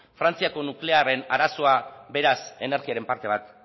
frantziako nuklearren arazoa beraz energiaren parte bat